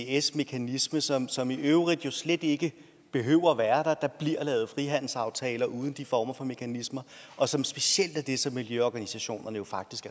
ics mekanisme som som i øvrigt jo slet ikke behøver at være der der bliver lavet frihandelsaftaler uden de former for mekanismer og som specielt er det som miljøorganisationerne faktisk